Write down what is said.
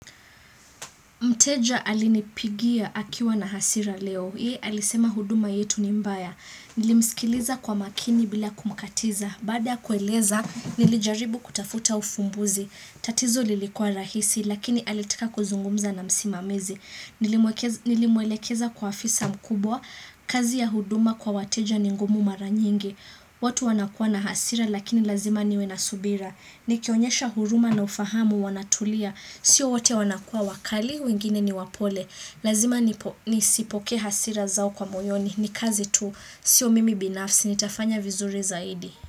Mteja alinipigia akiwa na hasira leo. Yeye alisema huduma yetu ni mbaya. Nilimsikiliza kwa makini bila kumkatiza. Baada kueleza, nilijaribu kutafuta ufumbuzi. Tatizo lilikua rahisi, lakini alitika kuzungumza na msimamizi. Nilimwelekeza kwa afisa mkubwa, kazi ya huduma kwa wateja ni ngumu mara nyingi. Watu wanakua na hasira lakini lazima niwe na subira. Nikionyesha huruma na ufahamu wanatulia. Sio wote wanakua wakali, wengine ni wapole. Lazima nisipoke hasira zao kwa moyoni. Ni kazi tu, sio mimi binafsi. Nitafanya vizuri zaidi.